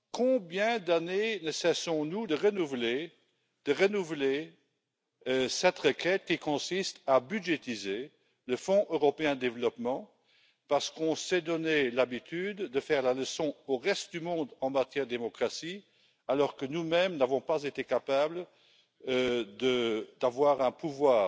Combien d'années ne cessons nous de renouveler cette requête qui consiste à budgétiser le Fonds européen de développement parce qu'on s'est donné l'habitude de faire la leçon au reste du monde en matière de démocratie alors que, nous mêmes, n'avons pas été capables d'avoir un pouvoir